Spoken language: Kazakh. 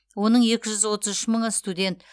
оның екі жүз отыз үш мыңы студент